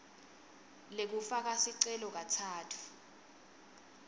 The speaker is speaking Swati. lekufaka sicelo katsatfu